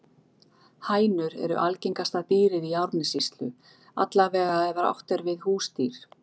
Hænur eru algengasta dýrið í Árnessýslu, alla vega ef átt er við húsdýr.